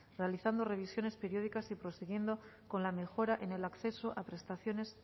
realizando revisiones periódicas y prosiguiendo con la mejora en el acceso a prestaciones